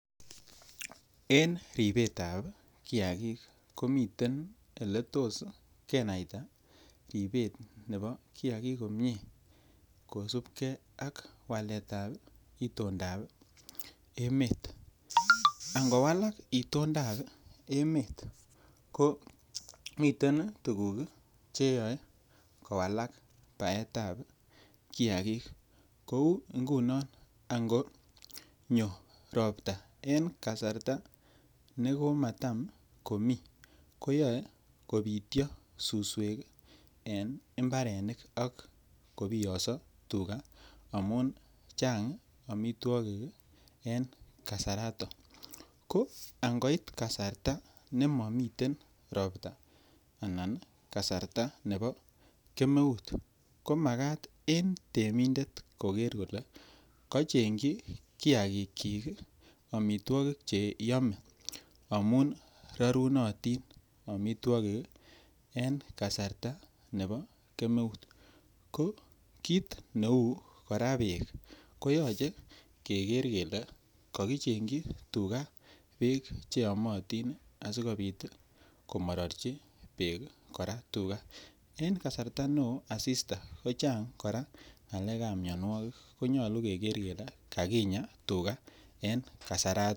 En ribet ab kiagik komiten Ole tos kenaita ribet nebo kiagik komie kosubkei ak waletab itondap emet angowalak itondap emet komiten tuguk Che yoe kowalak baetab kiagik kou ingunon angonyo Ropta en kasarta nematam komii koyoe kobityo suswek en mbarenik ak kobiyoso tuga amun Chang amitwogik en kasarato ko angoit kasarta ne momi Ropta anan kasarta nebo keep kemeut komakat en temindet koker kole kocheng chi kiagik kyik ii amitwogik Che yome amun rorunotin amitwogik en kasarta nebo kemeut ko kit neu kora beek koyoche kegeer kele kokichengji tuga Beek Che yomotin asikobit komarorji Beek kora tuga en kasarta neo asista kochang kora ngalekab mianwogik ko nyolu keger kele kakinyaa en kasarato